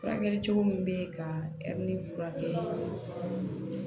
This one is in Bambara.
Furakɛli cogo min bɛ ka ɛri furakɛ